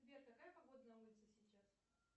сбер какая погода на улице сейчас